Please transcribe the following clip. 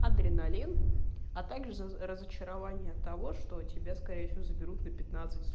адреналин а также разочарование того что тебя скорее всего заберут на пятнадцать суток